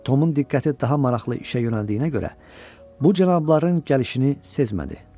Tomun diqqəti daha maraqlı işə yönəldiyinə görə bu cənabların gəlişini sezmədi.